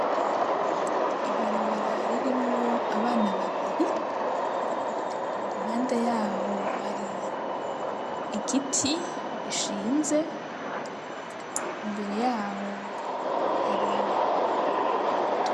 Ibarabara ririmwo abana babiri, impande yawo hari ikiti gishinze imbere yaho hari.